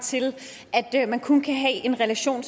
til at man kun kan have en relation